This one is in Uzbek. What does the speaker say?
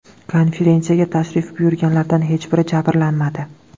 Konferensiyaga tashrif buyurganlardan hech biri jabrlanmadi.